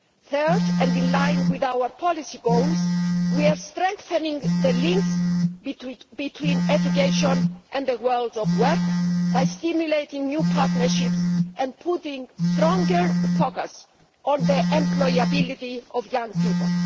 Third, and in line with our policy goals, we are strengthening the links between education and the world of work by stimulating new partnerships and putting stronger focus on the employability of young people.